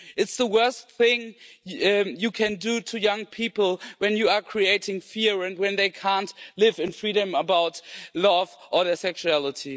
It is the worst thing you can do to young people when you are creating fear and when they can't live in freedom about love or their sexuality.